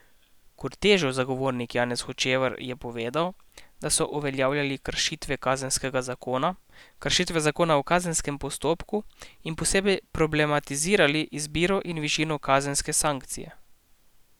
Kordežev zagovornik Janez Hočevar je povedal, da so uveljavljali kršitve kazenskega zakona, kršitve zakona o kazenskem postopku in posebej problematizirali izbiro in višino kazenske sankcije.